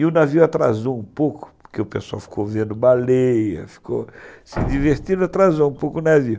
E o navio atrasou um pouco, porque o pessoal ficou vendo baleia, ficou se divertindo, atrasou um pouco o navio.